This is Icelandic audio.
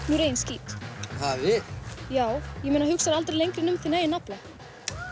úr eigin skít ha við já ég meina hugsarðu aldrei lengra en um þinn eigin nafla